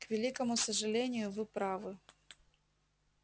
к великому сожалению вы правы